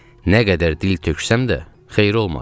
Nə qədər dil töksəm də, xeyri olmadı.